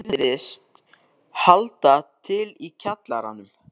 inn virðist halda til í kjallaranum.